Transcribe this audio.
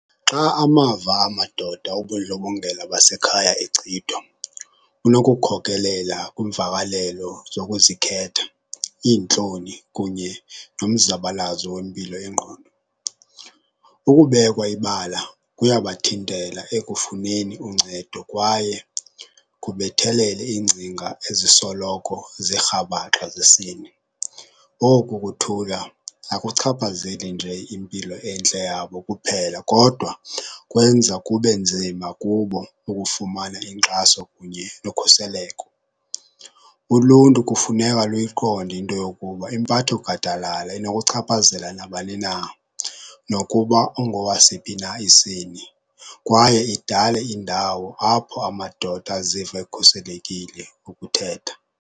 Xa amava amadoda obundlobongela basekhaya kunokukhokelela kwimvakalelo zokuzikhetha, iintloni kunye nomzabalazo wempilo yengqondo. Ukubekwa ibala kuyabathintela ekufuneni uncedo kwaye kubethelele iingcinga ezisoloko zirhabhaxa zesini. Oku kuthula akuchaphazeli nje impilo entle yabo kuphela kodwa kwenza kube nzima kubo ukufumana inkxaso kunye nokhuseleko. Uluntu kufuneka luyiqonde into yokuba impatho gadalala inokuchaphazela nabani na nokuba ungowasiphi na isini, kwaye idale indawo apho amadoda aziva ekhuselekile ukuthetha.